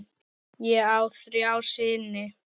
Ég á þrjá syni.